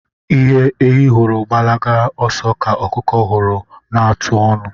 Ihe ehi hụrụ gbalaga ọsọ kà ọkụkọ hụrụ na-atụ ọnụ.